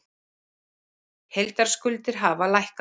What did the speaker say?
Heildarskuldir hafa lækkað